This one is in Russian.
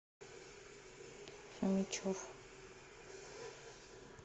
фомичев